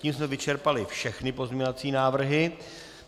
Tím jsme vyčerpali všechny pozměňovací návrhy.